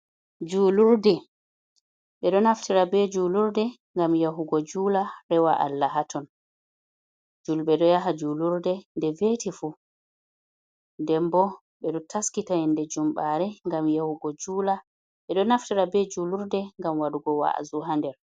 Julurde, ɓeɗo naftira ɓe julurde ngam yahugo jula rewa Allah haton julɓe ɗo yaha julurde nde vetifu dembo ɓeɗo taskita yende jumɓare gam yahugo jula, ɓeɗo naftira ɓe julurde ngam waɗgo wa’azu ha nder.